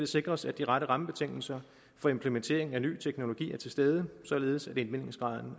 sikres at de rette rammebetingelser for implementering af ny teknologi er til stede således at indvindingsgraden